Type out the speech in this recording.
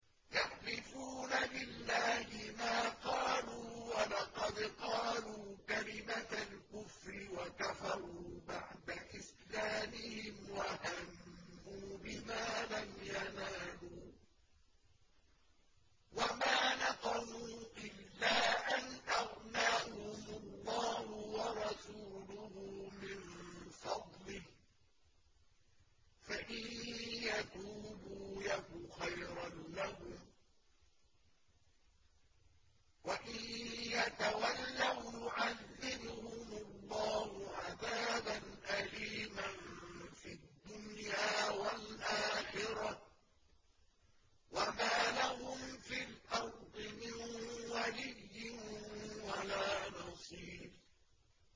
يَحْلِفُونَ بِاللَّهِ مَا قَالُوا وَلَقَدْ قَالُوا كَلِمَةَ الْكُفْرِ وَكَفَرُوا بَعْدَ إِسْلَامِهِمْ وَهَمُّوا بِمَا لَمْ يَنَالُوا ۚ وَمَا نَقَمُوا إِلَّا أَنْ أَغْنَاهُمُ اللَّهُ وَرَسُولُهُ مِن فَضْلِهِ ۚ فَإِن يَتُوبُوا يَكُ خَيْرًا لَّهُمْ ۖ وَإِن يَتَوَلَّوْا يُعَذِّبْهُمُ اللَّهُ عَذَابًا أَلِيمًا فِي الدُّنْيَا وَالْآخِرَةِ ۚ وَمَا لَهُمْ فِي الْأَرْضِ مِن وَلِيٍّ وَلَا نَصِيرٍ